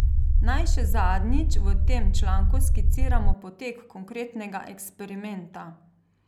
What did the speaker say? Naj še zadnjič v tem članku skiciramo potek konkretnega eksperimenta.